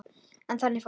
En þannig fór.